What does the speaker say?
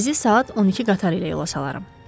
Sizi saat 12 qatarı ilə yola salaram.